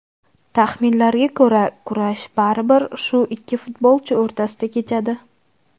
Taxminlarga ko‘ra, kurash baribir shu ikki futbolchi o‘rtasida kechadi.